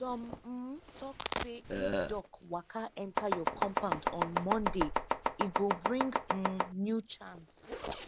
some um tok say if duck waka enter your compound on monday e go bring um new chance